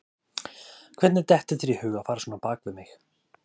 Hvernig dettur þér í hug að fara svona á bak við mig?